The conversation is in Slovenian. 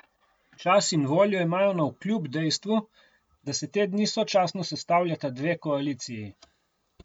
Čas in voljo imajo navkljub dejstvu, da se te dni sočasno sestavljata dve koaliciji.